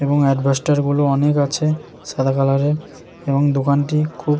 এবং এডভাস্টর গুলো অনেক আছে সাদা কালোর এর এবং দোকানটি খুব --